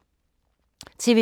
TV 2